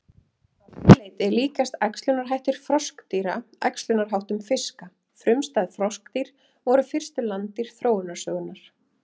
Að því leyti líkjast æxlunarhættir froskdýra æxlunarháttum fiska frumstæð froskdýr voru fyrstu landdýr þróunarsögunnar.